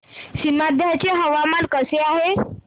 सीमांध्र चे हवामान कसे आहे